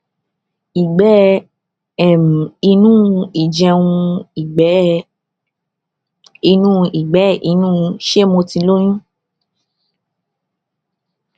ìgbé um inú ìjẹun ìgbé um inú ìgbé inú ṣé mo ti lóyún